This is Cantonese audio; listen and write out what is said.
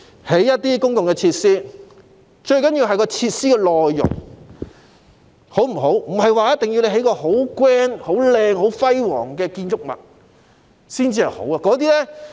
例如，公共設施最重要的其實是設施的內容，並非 grand、漂亮或輝煌的建築物才好。